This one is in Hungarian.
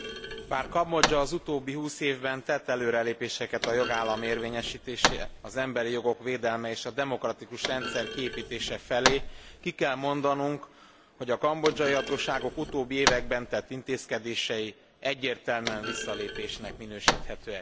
Bár Kambodzsa az utóbbi 20 évben tett előrelépéseket a jogállamiság érvényesítése, az emberi jogok védelme, és a demokratikus rendszer kiépítése felé, ki kell mondanunk, hogy a kambodzsai hatóságok utóbbi években tett intézkedései egyértelműen visszalépésnek minősíthetőek.